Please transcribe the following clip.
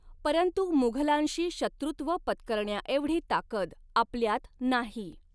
परंतु मुघलांशी शत्रुत्व पत्करण्याएवढी ताकद आपल्यात नाही.